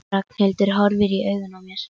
Ragnhildur horfir í augun á mér.